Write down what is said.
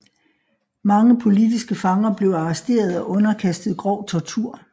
Mange politiske fanger blev arresteret og underkastet grov tortur